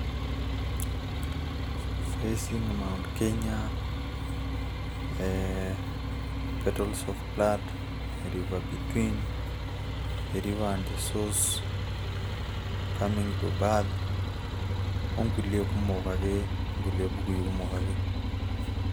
facing mt kenya ,ee petals of blood, river between ,the river and the source, coming to birth .okulie kumok ake.